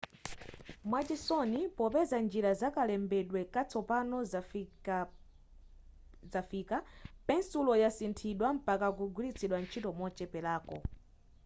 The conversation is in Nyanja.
mwachisoni popeza njira zakalembedwe katsopano zafika pensulo yasinthidwa mpaka kugwiritsidwa ntchito mochepelako